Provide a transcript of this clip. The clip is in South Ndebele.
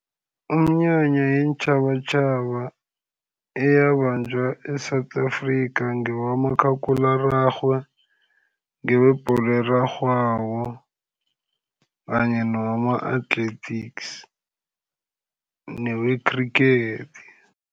Iminyanya yeentjhabatjhaba eyabanjwa e-South Afrika ngewakamakhakhulararhwe, ngewebholo erarhwako, kanye newama-athletics, newe-cricket.